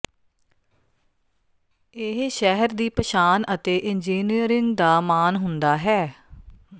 ਇਹ ਸ਼ਹਿਰ ਦੀ ਪਛਾਣ ਹੈ ਅਤੇ ਇੰਜੀਨੀਅਰਿੰਗ ਦਾ ਮਾਣ ਹੁੰਦਾ ਹੈ